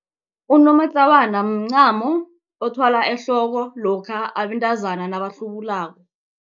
Unomatlawana mncamo othwalwa ehloko lokha abantazana nabahlubulako.